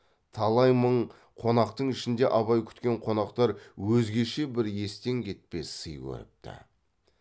талай мың қонақтың ішінде абай күткен қонақтар өзгеше бір естен кетпес сый көріпті